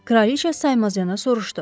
Kraliçə saymazcana soruşdu.